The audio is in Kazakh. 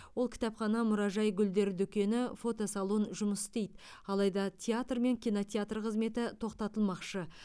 ол кітапхана мұражай гүлдер дүкені фотосалон жұмыс істейді алайда театр мен кинотеатр қызметі тоқтатылмақшы